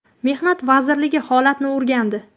Mehnat vazirligi holatni o‘rgandi.